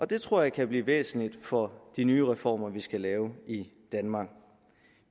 det tror jeg kan blive væsentligt for de nye reformer vi skal lave i danmark